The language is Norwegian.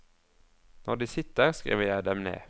Når de sitter, skriver jeg dem ned.